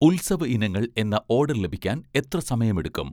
ഉത്സവ ഇനങ്ങൾ എന്ന ഓഡർ ലഭിക്കാൻ എത്ര സമയമെടുക്കും?